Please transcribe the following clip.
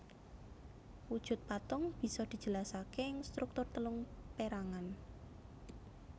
Wujud patung bisa dijelasake ing struktur telung perangan